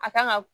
A kan ga